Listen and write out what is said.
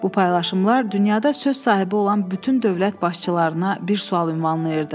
Bu paylaşımlar dünyada söz sahibi olan bütün dövlət başçılarına bir sual ünvanlayırdı.